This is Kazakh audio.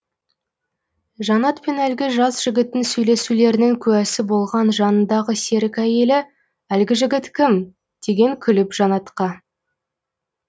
жаннат пен әлгі жас жігіттің сөйлесулерінің куәсі болған жанындағы серік әйелі әлгі жігіт кім деген күліп жаннатқа